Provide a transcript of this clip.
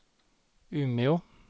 Umeå